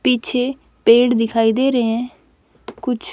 पीछे पेड़ दिखाई दे रहे है कुछ--